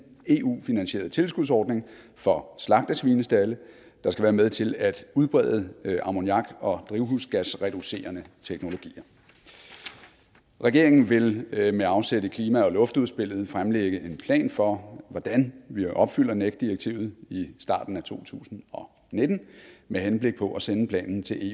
eu finansieret tilskudsordning for slagtesvinestalde der skal være med til at udbrede ammoniak og drivhusgasreducerende teknologier regeringen vil vil med afsæt i klima og luftudspillet fremlægge en plan for hvordan vi opfylder nec direktivet i starten af to tusind og nitten med henblik på at sende planen til